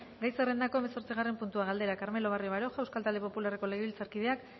gai zerrendako zortzigarren puntua galdera carmelo barrio baroja euskal talde popularreko legebiltzarkideak